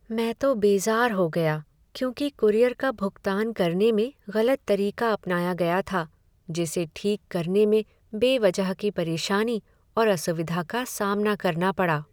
मैं तो बेज़ार हो गया क्योंकि कूरियर का भुगतान करने में गलत तरीका अपनाया गया था, जिसे ठीक करने में बेवजह की परेशानी और असुविधा का सामना करना पड़ा।